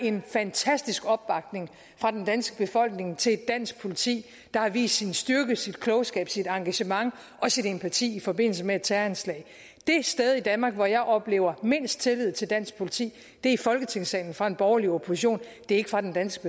en fantastisk opbakning fra den danske befolkning til et dansk politi der har vist sin styrke sin klogskab sit engagement og sin empati i forbindelse med et terroranslag det sted i danmark hvor jeg oplever mindst tillid til dansk politi er i folketingssalen og fra en borgerlig opposition det er ikke fra den danske